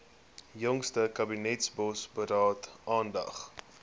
jongste kabinetsbosberaad aandag